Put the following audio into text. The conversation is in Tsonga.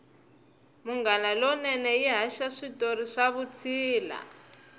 munghana lonene yi haxa switori swa vutshila